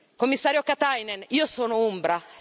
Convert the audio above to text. Commissario Katainen, io sono umbra.